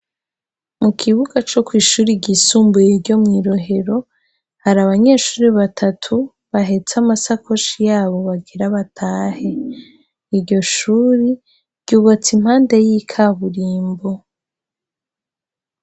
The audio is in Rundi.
Mu kibuga co kw'ishuri ryisumbuye iryo mwi Rohero hari abanyeshure batatu bahetse amasakoshi yabo bagira batahe, iryo shure ryubatse impande y'ikaburimbo.